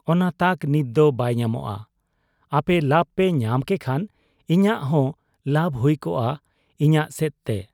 ᱚᱱᱟ ᱛᱟᱠ ᱱᱤᱛᱫᱚ ᱵᱟᱭ ᱧᱟᱢᱚᱜ ᱟ ᱾ ᱟᱯᱮ ᱞᱟᱵᱽᱯᱮ ᱧᱟᱢ ᱠᱮᱠᱷᱟᱱ ᱤᱧᱟᱹᱜ ᱦᱚᱸ ᱞᱟᱵᱽ ᱦᱩᱭ ᱠᱚᱜ ᱟ ᱤᱧᱟᱹᱜ ᱥᱮᱫ ᱛᱮ ᱾